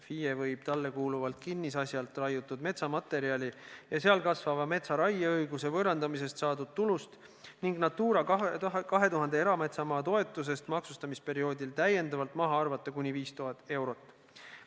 FIE võib talle kuuluvalt kinnisasjalt raiutud metsamaterjali ja seal kasvava metsa raieõiguse võõrandamisest saadud tulust ning Natura 2000 erametsamaa toetusest maksustamisperioodil täiendavalt maha arvata kuni 5000 eurot.